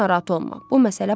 Qəti narahat olma.